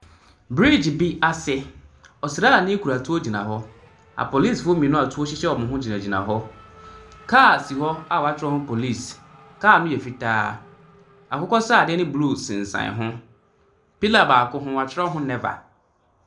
Bridge bi ase, ɔsraani kura tuo gyina hɔ, apolisifoɔ mmienu a tuo hyehyɛ wɔn hɔ. Kaa a si hɔ a wɔatwerɛ ho Police, kaa no yɛ fitaa, akokɔsradeɛ ne blue sensane ho. Pillar baako ho, wɔatwerɛ ho never.